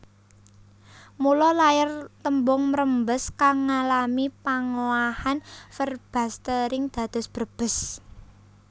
Mula lair tembung mrembes kang ngalami pangowahan verbastering dados Brebes